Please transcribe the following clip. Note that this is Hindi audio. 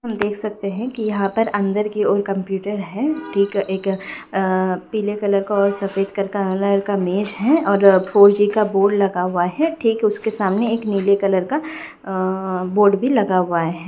हम देख सकते हैं की यहाँ पर अंदर की और कंप्यूटर है ठीक एक अ पीले कलर का और सफ़ेद कलर का मेज है और फोर-जी का बोर्ड लगा हुआ है ठीक उसके सामने एक नीले कलर का अ बोर्ड भी लगा हुआ है।